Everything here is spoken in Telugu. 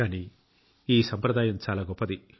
కానీ ఈ సంప్రదాయం చాలా గొప్పది